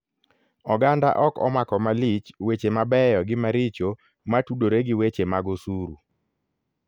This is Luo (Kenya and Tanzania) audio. Oganda ok omako malich weche mabeyo gi maricho matudore gi weche mag osuru.